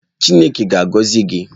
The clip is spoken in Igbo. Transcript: Chineke ga-agọzi gị!